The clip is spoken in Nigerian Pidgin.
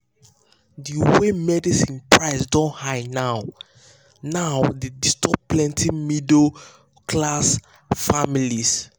the way medicine price don high now now dey disturb plenty middle-class families.